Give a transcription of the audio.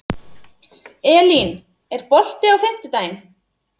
Elín, er bolti á fimmtudaginn?